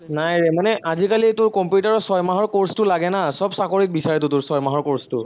নাই ৰে মানে আজিকালিটো কম্পিউটাৰৰ ছয়মাহৰ course টো লাগে না, সৱ চাকৰিত বিচাৰেতো তোৰ ছয়মাহৰ course টো